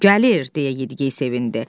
Gəlir, deyə yediyey sevindi.